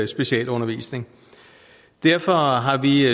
specialundervisning derfor har har vi